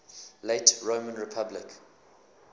late roman republic